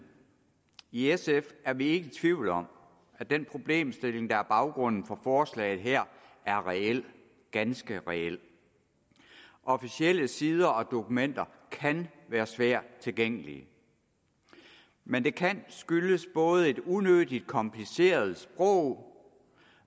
i sf er vi ikke i tvivl om at den problemstilling der er baggrunden for forslaget her er reel ganske reel officielle sider og dokumenter kan være svært tilgængelige men det kan skyldes både et unødig kompliceret sprog